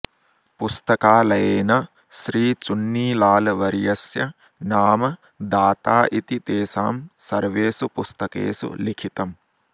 पुस्तकालयेन श्रीचुन्नीलालवर्यस्य नाम दाता इति तेषां सर्वेषु पुस्तकेषु लिखितम्